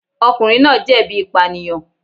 Ọkùnrin náà jẹ̀bi ìpànìyàn.